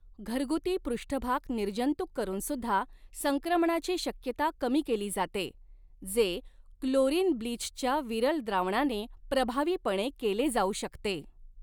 घरगुती पृष्ठभाग निर्जंतुक करून सुद्धा संक्रमणाची शक्यता कमी केली जाते, जे क्लोरीन ब्लीचच्या विरल द्रावणाने प्रभावीपणे केले जाऊ शकते.